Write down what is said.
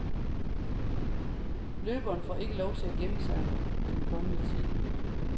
Løberen får ikke lov til at gemme sig den kommende tid.